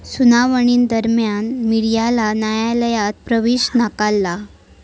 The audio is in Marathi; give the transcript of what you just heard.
सुनावणीदरम्यान मीडियाला न्यायालयात प्रवेश नाकारला.